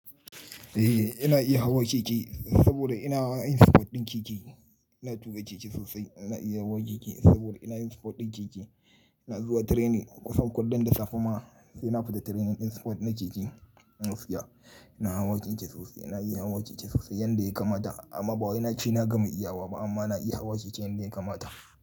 Eh ina iya hawa keke saboda ina hawa irin sport ɗin keke. Ina tuƙa keke sosai. Ina iya hawa keke saboda ina yin sport ɗin keke. Ina zuwa training kusan kullum da safe ma sai na fita training ɗin sport na keke. Gaskiya, ina hawa keke sosai. Ina iya hawa keke sosai yanda ya kamata. Amma ba wai nace na gama iyawa ba amma na iya hawa keke yanda ya kamata.